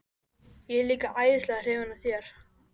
Ég er líka æðislega hrifin af þér.